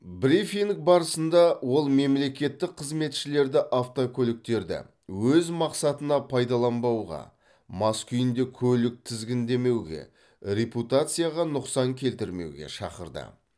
брифинг барысында ол мемлекеттік қызметшілерді автокөліктерді өз мақсатына пайдаланбауға мас күйінде көлік тізгіндемеуге репутацияға нұқсан келтірмеуге шақырды